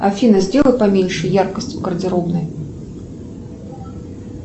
афина сделай поменьше яркость в гардеробной